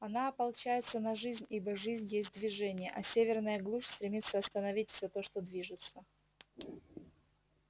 она ополчается на жизнь ибо жизнь есть движение а северная глушь стремится остановить все то что движется